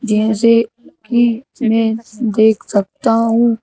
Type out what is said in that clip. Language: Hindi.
जैसे कि मैं देख सकता हूँ।